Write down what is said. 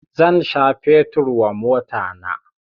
Zan sha fetur wa motana